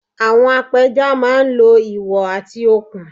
Àwọn apẹja máa ń lo ìwọ̀ àti okùn